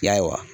Ya